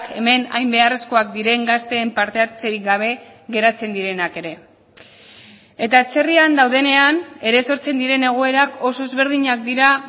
hemen hain beharrezkoak diren gazteen parte hartzerik gabe geratzen direnak ere eta atzerrian daudenean ere sortzen diren egoerak oso ezberdinak dira